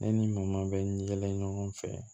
Ne ni mun bɛ ɲɔgɔn fɛ